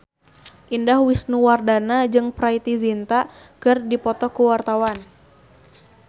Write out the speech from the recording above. Indah Wisnuwardana jeung Preity Zinta keur dipoto ku wartawan